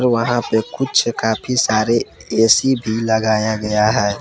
वहां पे कुछ काफी सारे ए_सी भी लगाया गया है।